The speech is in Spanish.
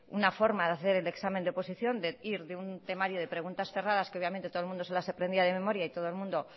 una forma de acceder el examen de oposición de ir de un temario de preguntas cerradas que obviamente todo el mundo se las aprendía de memoria y todo el mundo